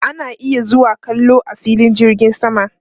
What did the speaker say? Ana iya zuwa kallo a filin jirgin sama